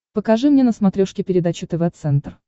покажи мне на смотрешке передачу тв центр